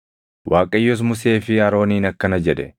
Waaqayyos Musee fi Arooniin akkana jedhe;